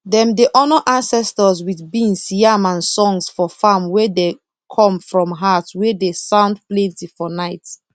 dem dey honour ancestors with beans yam and songs for farm wey dey come from heart wey dey sound plenty for night